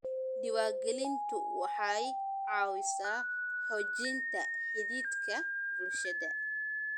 Diiwaangelintu waxay caawisaa xoojinta xidhiidhka bulshada.